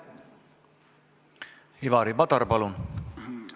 Ivari Padar, palun!